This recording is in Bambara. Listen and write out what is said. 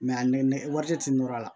a nɛ wari de tun nɔrɔ la